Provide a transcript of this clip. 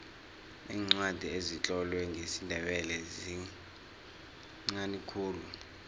iincwadi ezitlolwe ngesindebele zinqani khulu